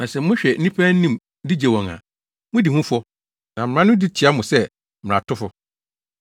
Na sɛ mohwɛ nnipa anim de gye wɔn a, mudi ho fɔ na mmara no di tia mo sɛ mmaratofo.